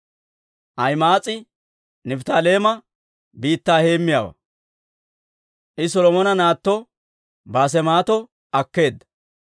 Ahima'aas'i Nifttaaleema biittaa heemmiyaawaa; I Solomona naatto Baasemaato akkeedda.